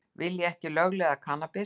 Vilja ekki lögleiða kannabis